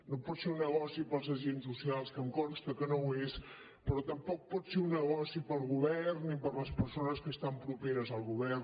no pot ser un negoci per als agents socials que em consta que no ho és però tampoc pot ser un negoci per al govern i per a les persones que estan properes al govern